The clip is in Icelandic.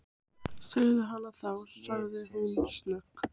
Segðu hana þá- sagði hún snöggt.